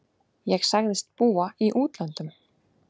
Ég sagðist búa í útlöndum.